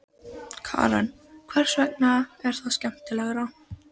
Karen: Hvers vegna er það skemmtilegra?